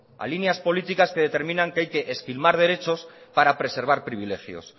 a líneas políticas que determinan que hay que esquilmar derechos para preservar privilegios